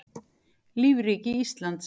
lífríki íslands